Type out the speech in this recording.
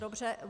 Dobře.